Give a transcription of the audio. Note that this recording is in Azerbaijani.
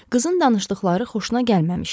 Qızın danışdıqları xoşuna gəlməmişdi.